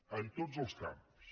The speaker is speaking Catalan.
en tots els camps